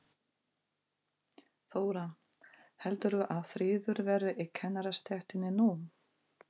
Þóra: Heldurðu að friður verði í kennarastéttinni nú?